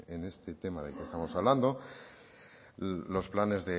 en este tema del que estamos hablando los planes